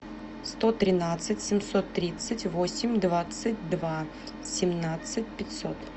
сто тринадцать семьсот тридцать восемь двадцать два семнадцать пятьсот